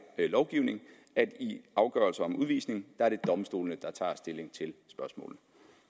lovgivning i afgørelser om udvisning er det i domstolene der tager stilling til spørgsmålet